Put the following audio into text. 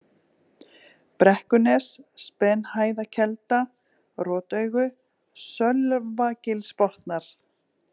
Brekkunes, Spenhæðarkelda, Rotaugu, Sölvagilsbotnar